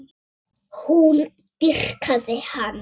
Hún dýrkaði hann.